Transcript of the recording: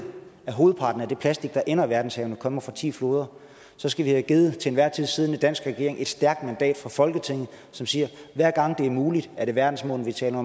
at hovedparten af det plastik der ender i verdenshavene kommer fra ti floder så skal vi have givet den til enhver tid siddende danske regering et stærkt mandat fra folketinget som siger at hver gang det er muligt om er verdensmålene vi taler